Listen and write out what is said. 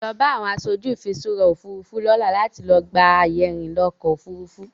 Lọ bá àwọn aṣojú ìfiṣúra Òfurufú lọ́la láti lọ gba àyè ìrìnà ọkọ Òfurufú.